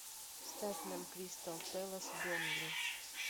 ставь нам кристал пэлас бернли